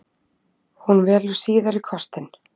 Hún velur síðari kostinn.